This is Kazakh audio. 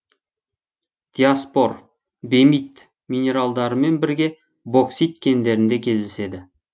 диаспор бемит минералдарымен бірге боксит кендерінде кездеседі